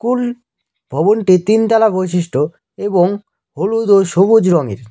ভবনটি তিনতলা বৈশিষ্ট্য এবং হলুদ ও সবুজ রঙের।